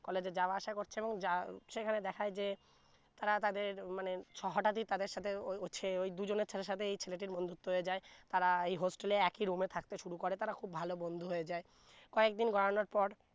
college এ যাওয়া আসা করছে এবং যা সেখানে দেখায় যে তারা তাদের মানে হঠাৎতি তাদের সাথে ওই ছে ওই দুজন ছালে সাথে ছেলেটির বন্ধুত্ব হয়ে যায় তারা hostel একি room এ থাকতে শুরু করে তারা খুব ভালো বন্ধু হয়ে যায় কয়েকদিন গড়ানোর পর